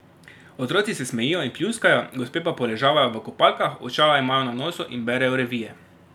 Otroci se smejijo in pljuskajo, gospe pa poležavajo v kopalkah, očala imajo na nosu in berejo revije.